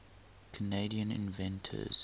canadian inventors